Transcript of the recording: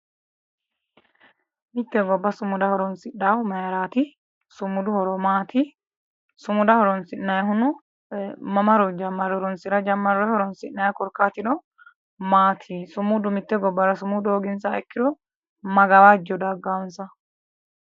mitte gobba sumuda horonsidhahu mayiraati? sumudu horo maati? sumuda horonsi'nannihuno mamaro jammarre horonsi'ra jammarroonni may korkaatiniro sumudu mitte gobbara hooginsaha ikkiro may gawajjo daggansa